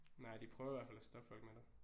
Nej de prøver i hvert fald at stoppe folk med det